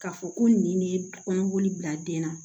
K'a fɔ ko nin de ye kɔnɔboli bila den na